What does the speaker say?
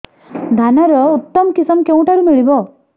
ଧାନର ଉତ୍ତମ କିଶମ କେଉଁଠାରୁ ମିଳିବ